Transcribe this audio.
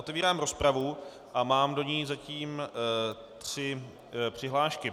Otevírám rozpravu a mám do ní zatím tři přihlášky.